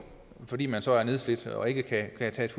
fordi man så er nedslidt og ikke kan tage et